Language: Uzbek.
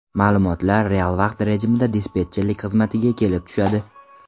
Ma’lumotlar real vaqt rejimida dispetcherlik xizmatiga kelib tushadi.